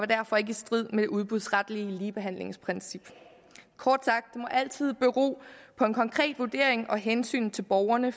derfor ikke i strid med det udbudsretlige ligebehandlingsprincip kort sagt må det altid bero på en konkret vurdering og hensynet til borgerne